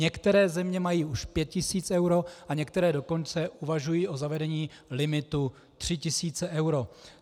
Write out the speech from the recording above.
Některé země mají už 5 tisíc eur a některé dokonce uvažují o zavedení limitu 3 tisíce eur.